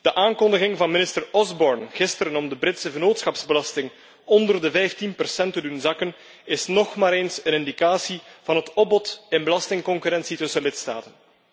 De aankondiging van minister Osborne gisteren om de Britse vennootschapsbelasting onder de 15 te doen zakken is nog maar eens een indicatie van het opbod in belastingconcurrentie tussen lidstaten.